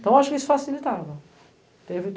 Então, acho que isso facilitava.